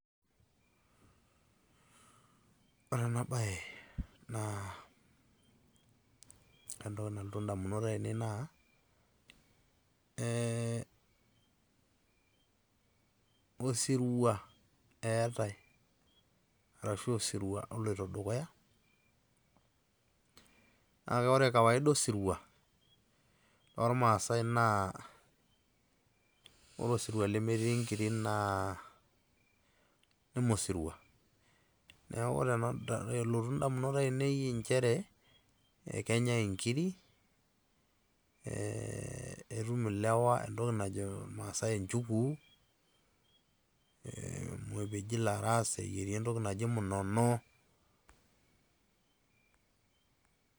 Ore enabae naa, entoki nalotu indamunot ainei naa, eh osirua eetae, arashu osirua oloito dukuya. Kake ore kawaida osirua, tormaasai naa, ore osirua lemetii nkirik naa neme osirua. Neeku ore elotu indamunot ainei injere, ekenyai inkiri, etum ilewa entoki najo irmaasai inchuguu, epeji laras, eyieri entoki naji munono.